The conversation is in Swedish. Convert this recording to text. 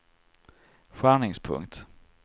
skärningspunkt